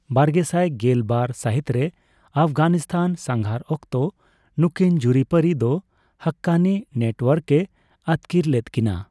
ᱵᱟᱨᱜᱮᱥᱟᱭ ᱜᱮᱞ ᱵᱟᱨ ᱥᱟᱹᱦᱤᱛᱨᱮ ᱟᱯᱷᱜᱟᱱᱤᱥᱛᱟᱱ ᱥᱟᱸᱜᱷᱟᱨ ᱚᱠᱛᱚ ᱱᱩᱠᱤᱱ ᱡᱩᱨᱤ ᱯᱟᱹᱨᱤ ᱫᱚ ᱦᱟᱠᱠᱟᱱᱤ ᱱᱮᱴᱳᱣᱟᱨᱠᱮ ᱟᱹᱛᱠᱤᱨ ᱞᱮᱫᱠᱤᱱᱟ ᱾